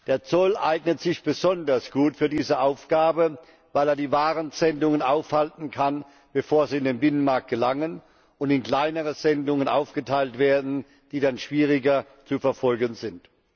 Der Zoll eignet sich besonders gut für diese Aufgabe, weil er die Warensendungen aufhalten kann, bevor sie in den Binnenmarkt gelangen und in kleinere Sendungen aufgeteilt werden, die dann schwieriger zu verfolgen sind.